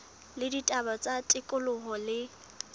la ditaba tsa tikoloho le